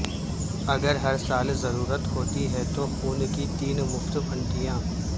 اگر ہر سال ضرورت ہوتی ہے تو خون کی تین مفت پنٹیاں